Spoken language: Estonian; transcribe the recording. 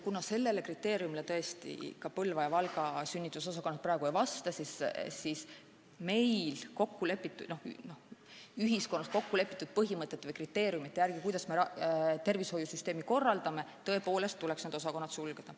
Kuna sellele kriteeriumile Põlva ja Valga sünnitusosakond praegu ei vasta, siis ühiskonnas kokku lepitud põhimõtete järgi, kuidas me tervishoiusüsteemi korraldame, tõepoolest tuleks need osakonnad sulgeda.